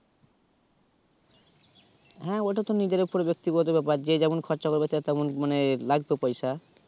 হ্যাঁ ওইটা তো নিজের উপর ব্যাক্তিগত ব্যাপার যে যেমন খরচা করবে সেটা তেমন মানে লাগতো পয়সা